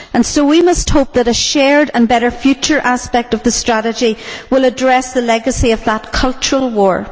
So we must hope that a shared and better future aspect of the strategy will address the legacy of that cultural war.